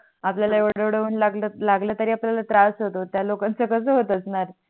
आपल्याला येवड येवड उन लागल लागल तरी आपल्याला त्रास होतो त्या लोकानंच कस होत असणार